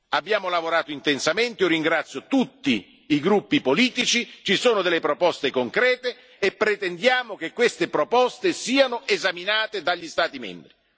Abbiamo lavorato intensamente io ringrazio tutti i gruppi politici ci sono delle proposte concrete e pretendiamo che queste proposte siano esaminate dagli Stati membri.